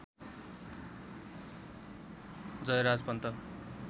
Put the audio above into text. Jayaraj Pant